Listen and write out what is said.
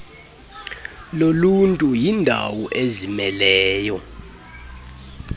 loluntu yindawo ezimeleyo